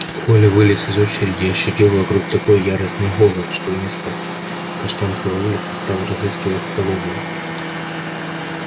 коля вылез из очереди и ощутил вдруг такой яростный голод что вместо каштановой улицы стал разыскивать столовую